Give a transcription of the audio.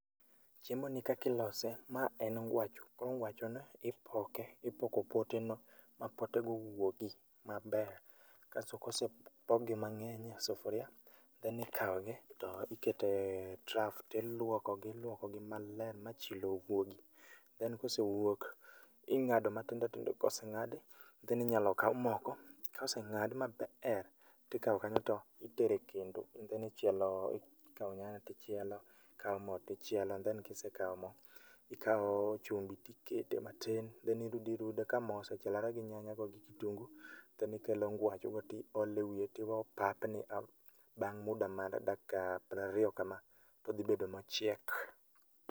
Chiemoni kaka ilose, ma en ngwacho koro ngwachoni ipoke ipoko poteno ma potego wuogi maber kasto kosepokgi mang'eny e sufuria, then ikawogi to ikete e trough tilwokogi ilwokogi maler ma chilo wuogi then kosewuok, ing'ado matindotindo. Koseng'adi then inyalo kaw moko koseng'ad mabeer tikawo kanyo to itero e kendo and then ikawo nyanya tichielo, ikawo mo tichielo and then kisekawo mo ikawo chumbi tikete matin then irudiirudo kamo osechielore gi nyanyago gi kitungu then ikelo ngwachogo tiole wiye tiwe opapni bang' muda mar dakika prariyo kama todhibedo mochiek.